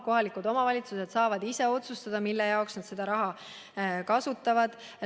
Kohalikud omavalitsused saavad ise otsustada, mille jaoks nad seda raha kasutavad.